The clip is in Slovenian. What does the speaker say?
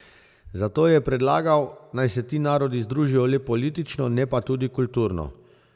Zato je predlagal, naj se ti narodi združijo le politično, ne pa tudi kulturno.